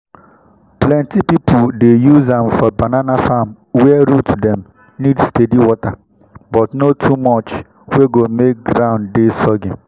plenty pipu dey use am for banana farm where root dem need steady water but no too much wey go make ground dey soggy.